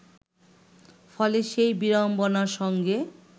ফলে সেই বিড়ম্বনার সঙ্গে